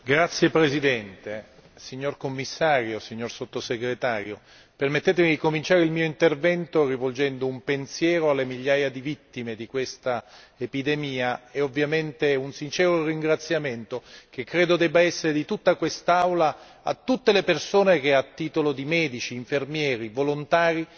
Signor Presidente, onorevoli colleghi, signor Commissario, signor sottosegretario, permettetemi di cominciare il mio intervento rivolgendo un pensiero alle migliaia di vittime di questa epidemia e ovviamente un sincero ringraziamento, che credo debba essere di tutta quest'Aula a tutte le persone che a titolo di medici, infermieri, volontari